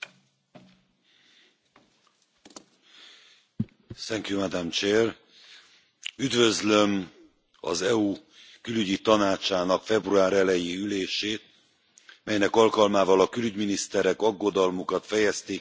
Elnök Asszony, üdvözlöm az EU Külügyi Tanácsának február eleji ülését, melynek alkalmával a külügyminiszterek aggodalmukat fejezték ki a kelet ukrajnai harci cselekmények kiújulása,